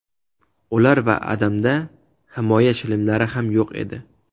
Ular va Adamda himoya shlemlari ham yo‘q edi.